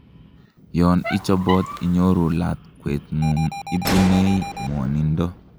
yon ichobot inyoru lakwetngung, ibunei ngwonindo